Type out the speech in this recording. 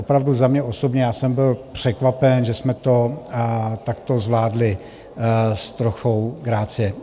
Opravdu za mě osobně, já jsem byl překvapen, že jsme to takto zvládli s trochou grácie.